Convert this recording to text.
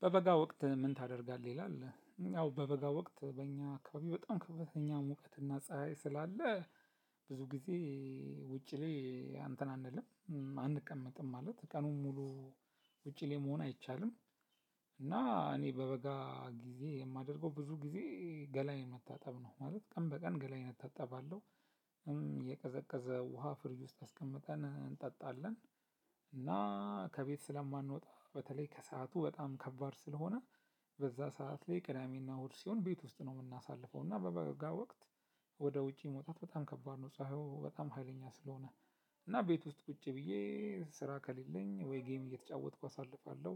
በበጋ ወቅት ምን? ታደርጋለህ ይላል አዎ በበጋ ወቅት በእኛ አካባቢ በጣም ከፍተኛ ሙቀትና ፀሀይ ስላለ ብዙ ጊዜ ውጪ ላይ አንተን አንልም አንቀመጥም ማለት ቀኑን ሙሉ ውጪ ላይ መሆን አይቻልም። እና እኔ በበጋ ጊዜ የማደርገው ብዙ ጊዜ ገላዬን መታጠብ ነው ማለት ቀን በቀን ገላዬን እታጠብ አለው። የቀዘቀዘ ውሃ ፍሪጅ ውስጥ አስቀምጠን እንጠጣለን። እና ከቤት ስለማንወጣ በተለይ ከሰአቱ በጣም ከባድ ስለሆነ በዛ ሰዓት ላይ ቅዳሜና እሁድ ሲሆን ቤት ውስጥ ነው የምናሳልፈው። እና በበጋ ወቅት ወደ ውጪ መውጣት በጣም ከባድ ነው ፀሀዩ በጣም ሀይለኛ ስለሆነ እና ቤት ውስጥ ቁጭ ብዬ ስራ ከሌለኝ ወይ ጌም እየተጫወትኩ አሳልፋለሁ።